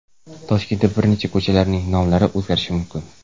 Toshkentda bir necha ko‘chalarning nomlari o‘zgarishi mumkin.